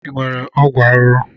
Ị nwere ọgwụ arụrụ?